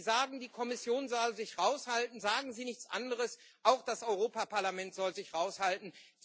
Wenn Sie sagen, die Kommission soll sich raushalten, sagen Sie nichts anderes als Auch das Europaparlament soll sich raushalten.